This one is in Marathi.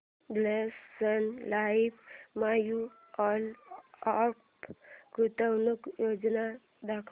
Birla Sun Life mutual fund गुंतवणूक योजना दाखव